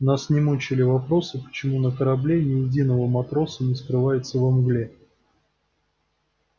нас не мучили вопросы почему на корабле ни единого матроса не скрывается во мгле